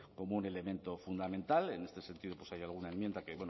como un elemento fundamental en este sentido pues hay alguna enmienda que